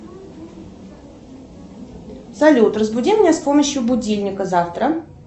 салют разбуди меня с помощью будильника завтра